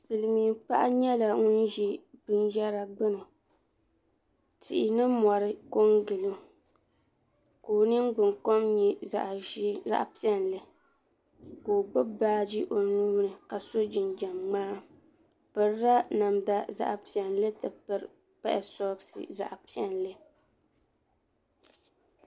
Silimiin paɣa nyɛla ŋun ʒi binyɛra gbini tihi ni mori kongili o ka o ningbinkom nyɛ zaɣa piɛli ka o gbibi baaji o nuuni ka so jinjiɛm ŋmaa o pirila namda zaɣa piɛli n ti pahi soɣasi zaɣa piɛli.